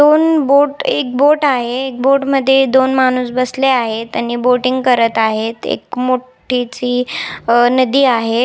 दोन बोट एक बोट आहे एक बोट मध्ये दोन माणुस बसले आहेत आणि बोटींग करत आहेत एक मोठी ची अ नदी आहे.